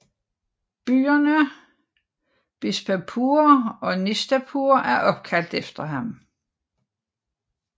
Byerne Bishapur og Nishapur er opkaldt efter ham